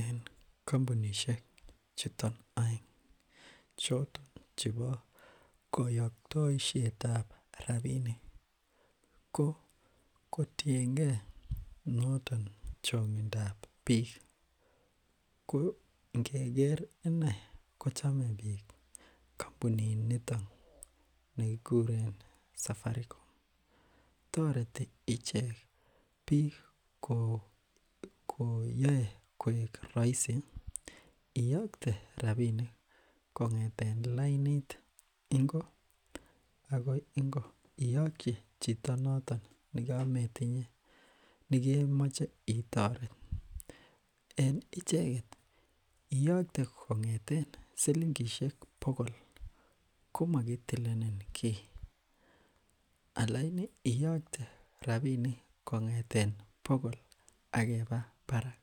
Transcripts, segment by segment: En kampunisiek chuton aeng, chebo kayaktaisieta. Rabinik ko kotienge chang'intab bik ih ko ingeker inei kochame bik kampunit niton kikuren safaricom. Tareti icheket bik ko yae koek raisi iakte rabinik kong'eten lainit ingo akoi ingo iakyi chito naton nekemache iterat. En icheket iakte kong'eten silingishek bokol komakkitilen ki , alaini iakte kong'eten bokol akeba barak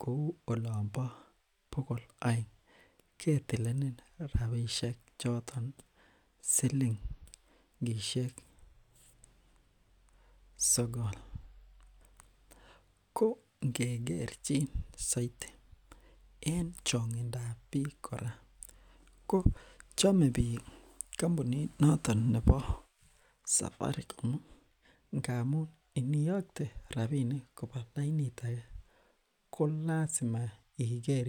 kouu olon bo bokol aeng ketileen rabinik nekit silingishek sogol . Ko ingekerchin saiti en chang'intab bik kora ko chame bik kampunit noton nebo safaricom ngamun iniakte rabinik koba lainit age ko lasima iker.